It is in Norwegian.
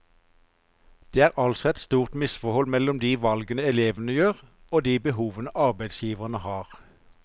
Det er altså et stort misforhold mellom de valgene elevene gjør, og de behovene arbeidsgiverne har.